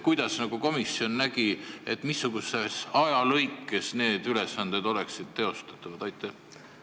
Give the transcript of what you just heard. Kuidas komisjon ette nägi, missuguses ajalõikes need ülesanded teostatavad oleksid?